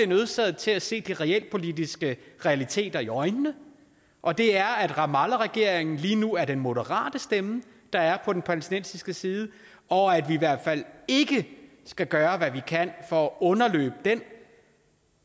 nødsaget til at se de realpolitiske realiteter i øjnene og det er at ramallahregeringen lige nu er den moderate stemme der er på den palæstinensiske side og at vi i hvert fald ikke skal gøre hvad vi kan for at underløbe den